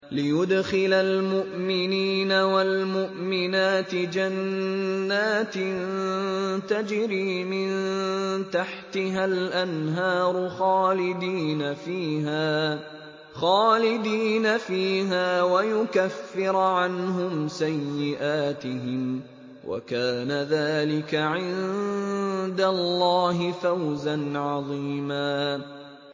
لِّيُدْخِلَ الْمُؤْمِنِينَ وَالْمُؤْمِنَاتِ جَنَّاتٍ تَجْرِي مِن تَحْتِهَا الْأَنْهَارُ خَالِدِينَ فِيهَا وَيُكَفِّرَ عَنْهُمْ سَيِّئَاتِهِمْ ۚ وَكَانَ ذَٰلِكَ عِندَ اللَّهِ فَوْزًا عَظِيمًا